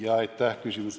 Aitäh küsimuse eest!